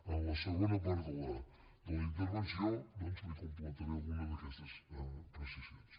en la segona part de la intervenció doncs li completaré alguna d’aquestes precisions